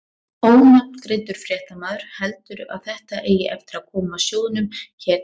Ónafngreindur fréttamaður: Heldurðu að þetta eigi eftir að koma sjóðnum hér til góða?